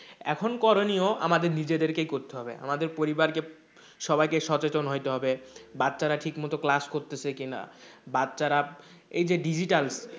এখন করণীয় আমাদের নিজেদেরকেই করতে হবে আমাদের পরিবারকে সবাইকে সচেতন হইতে হবে বাচ্চারা ঠিকমতো class করতেছে কি না? বাচ্চারা এই যে digital